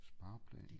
Spareplan